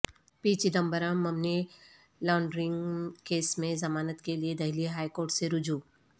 پی Chidambaram money laundering case میں ضمانت کیلئے دہلی ہائی کورٹ سے رجوع